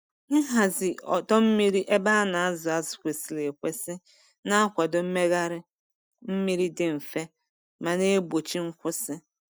Nhazi ọdọ mmiri ebe a na-azụ azụ kwesịrị ekwesị na-akwado mmegharị mmiri dị mfe ma na-egbochi nkwụsị.